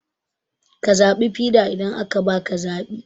Ka zaɓi fiɗa idan aka baka zaɓi